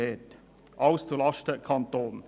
Alles geht zulasten des Kantons.